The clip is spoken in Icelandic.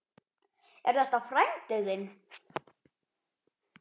Er þetta frændi þinn?